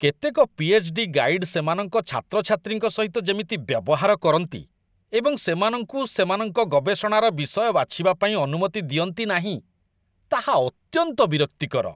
କେତେକ PhD. Guide ସେମାନଙ୍କ ଛାତ୍ରଛାତ୍ରୀଙ୍କ ସହିତ ଯେମିତି ବ୍ୟବହାର କରନ୍ତି ଏବଂ ସେମାନଙ୍କୁ ସେମାନଙ୍କ ଗବେଷଣାର ବିଷୟ ବାଛିବା ପାଇଁ ଅନୁମତି ଦିଅନ୍ତି ନାହିଁ, ତାହା ଅତ୍ୟନ୍ତ ବିରକ୍ତିକର।